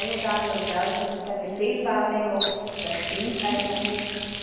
Meine Damen und Herren, das ist eine Fehlwahrnehmung, das stimmt einfach nicht.